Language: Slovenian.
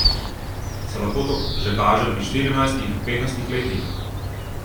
Se lahko to že kaže pri štirinajstih, petnajstih letih?